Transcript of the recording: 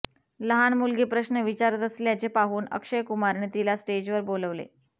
लहान मुलगी प्रश्न विचारत असल्याचे पाहून अक्षयकुमारने तिला स्टेजवर बोलवले